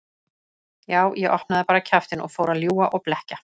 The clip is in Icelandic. Já, ég opnaði bara kjaftinn og fór að ljúga og blekkja.